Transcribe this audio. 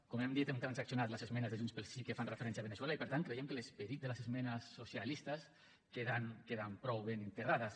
com hem dit hem transaccionat les esmenes de junts pel sí que fan referència a veneçuela i per tant creiem que l’esperit de les esmenes socialistes queden prou ben integrades